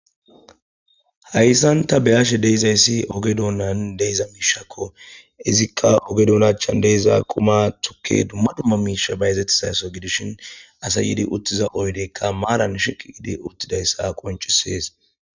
hayssan ta beyashe de'izayssi oge donnan de'iza miishakko izikka oge dona achchan de'iza quma tukke dumma dumma miisha bayezettizaso gidishin asay yidi uttiza oydeykka maaran shiqi yidi uttidayssa qoncisees